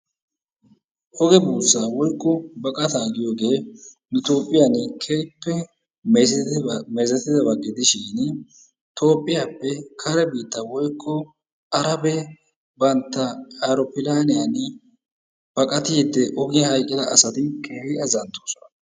Oge buussaa woykko baqataa giyoogee nu biitteeni darotoo mezetidaa meezzettidaabaa gidishiin toophphiyaappe kare biittaa woykko arabee bantta ayroophilaaniyaani baqaattiidi ogiyaan hayqqida asati keehin azanttoosona.